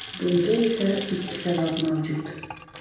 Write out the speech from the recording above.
Bunga esa ikki sabab mavjud.